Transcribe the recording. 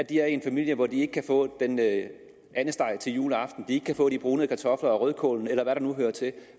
i en familie hvor de ikke kan få andesteg juleaften og ikke kan få de brunede kartofler og rødkål eller hvad der nu hører til